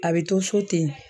A be to so ten